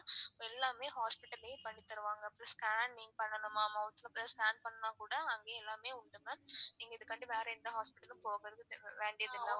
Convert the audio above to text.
எல்லாமே hospital லையே பண்ணி தருவாங்க scan நீங்க பண்ணனுமா mouth ல scan நீங்க பண்ணனும்னா கூட அங்கயே எல்லாமே உண்டு ma'am நீங்க இதுக்காண்டி வேற எந்த hospital லும் போகறது வேண்டியது இல்ல.